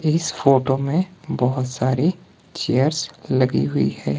इस फोटो में बहोत सारी चेयर्स लगी हुई है।